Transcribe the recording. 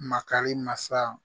Makari mansa